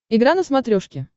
игра на смотрешке